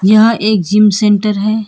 यहां एक gym centre है।